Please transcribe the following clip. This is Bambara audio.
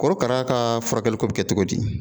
Korokara kaafurakɛliko bɛe kɛ togo di